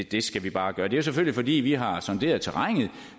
det skal vi bare gøre det er jo selvfølgelig fordi vi har sonderet terrænet